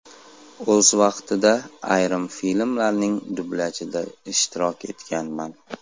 O‘z vaqtida ayrim filmlarning dublyajida ishtirok etganman.